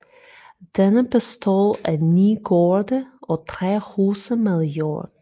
Denne bestod af 9 gårde og 3 huse med jord